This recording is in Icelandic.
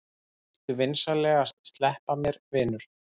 Viltu vinsamlegast sleppa mér, vinur!